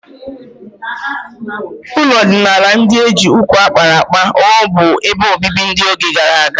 Ụlọ ọdịnala ndị e ji nkwụ a kpara akpa rụ bụ ebe obibi n'oge gara aga.